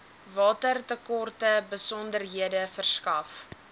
watertekorte besonderhede verskaf